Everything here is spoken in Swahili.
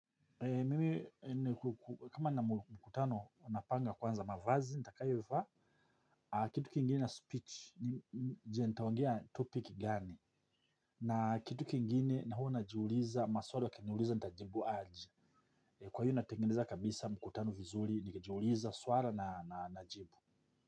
Mimi kama na mkutano napanga kwanza mavazi, nitakayo vaa. Kitu kingine na speech, je nitaongea topic gani. Na kitu kingine na huwa najiuliza, maswali wakiniuliza nitajibu aji. Kwa hiyo natengeneza kabisa mkutano vizuri, nikijiuliza swala na najibu.